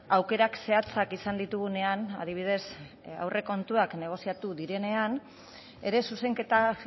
aukerak zehatzak izan ditugunean adibidez aurrekontuak negoziatu direnean ere zuzenketa